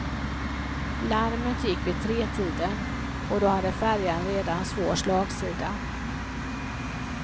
Larmet gick vid tretiden och då hade färjan redan svår slagsida.